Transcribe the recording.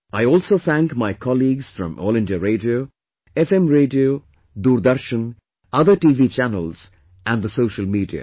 I also thank my colleagues from All India Radio, FM Radio, Doordarshan, other TV Channels and the Social Media